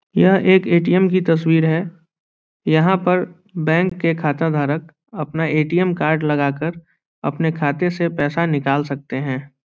यह एक ए.टी.एम. की तस्वीर है यहाँ पे बेंक के खता धारक अपना ए.टी.एम. कार्ड लगाकर अपने खाते से पैसे निकाल सकते है ।